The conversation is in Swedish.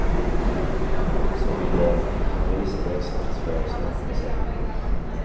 Som ville man visa växandets förutsättning i separation.